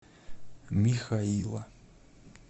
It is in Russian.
михаила